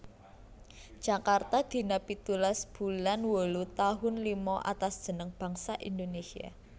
Djakarta dina pitulas boelan wolu tahoen lima Atas jeneng bangsa Indonésia